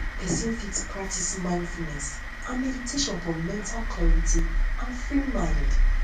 person fit practice mindfulness and meditation for mental clarity and free mind